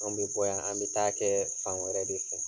Anw be bɔ yan, an bɛ taa kɛ fan wɛrɛ de fɛ